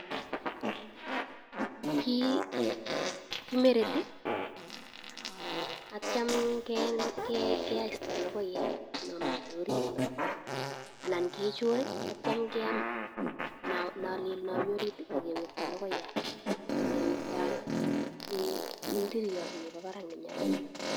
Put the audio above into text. Kii kimereti aitya kesto logoiyat nomiten orit no anan kichur aitya kiyam nolel nomi orit akewekta akewekta ndiriot nomi barak na nyalil ni.